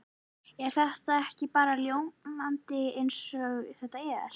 Er þetta ekki bara ljómandi eins og þetta er?